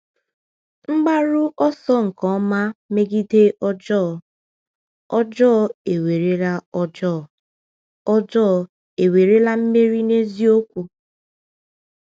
N’mgbaru ọsọ nke ọma megide ọjọọ, ọjọọ ewerela ọjọọ, ọjọọ ewerela mmeri n’eziokwu?